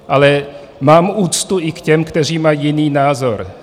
Ale mám úctu i k těm, kteří mají jiný názor.